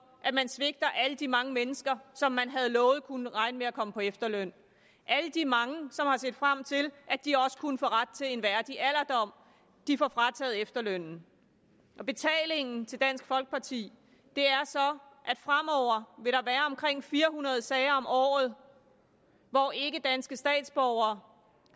at man svigter alle de mange mennesker som man havde lovet kunne regne med at komme på efterløn alle de mange som har set frem til at de også kunne få ret til en værdig alderdom får frataget efterlønnen betalingen til dansk folkeparti er så at fire hundrede sager om året hvor ikkedanske statsborgere